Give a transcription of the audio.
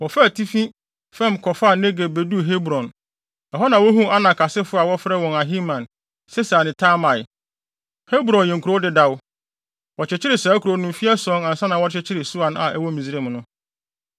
Wɔfaa atifi fam kɔfaa Negeb beduu Hebron. Ɛhɔ na wohuu Anak asefo a wɔfrɛ wɔn Ahiman, Sesai ne Talmai. Hebron yɛ kurow dedaw. Wɔkyekyeree saa kurow no mfe ason ansa na wɔrekyekyere Soan a ɛwɔ Misraim no.